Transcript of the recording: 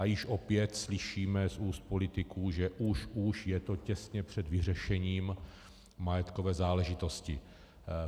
A již opět slyšíme z úst politiků, že už už je to těsně před vyřešením majetkové záležitosti.